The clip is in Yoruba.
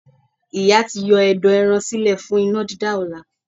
Ìyá ti yọ ẹ̀dọ̀ ẹran sílẹ̀ fún iná dídá ọ̀la.